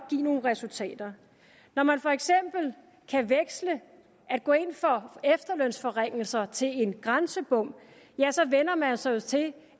give nogle resultater når man for eksempel kan veksle at gå ind for efterlønsforringelser til en grænsebom så vænner man sig jo til